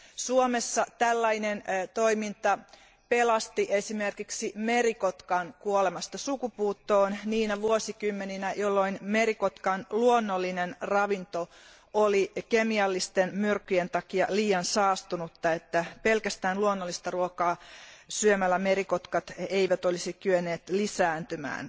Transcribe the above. Suomessa tällainen toiminta pelasti esimerkiksi merikotkan kuolemasta sukupuuttoon niinä vuosikymmeninä, jolloin merikotkan luonnollinen ravinto oli kemiallisten myrkkyjen takia liian saastunutta ja jolloin pelkästään luonnollista ruokaa syömällä merikotkat eivät olisi kyenneet lisääntymään.